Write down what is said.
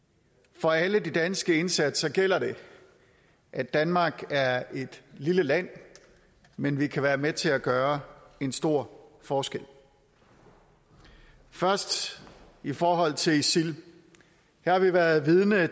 for alle de danske indsatser gælder det at danmark er et lille land men vi kan være med til at gøre en stor forskel først i forhold til isil her har vi været vidne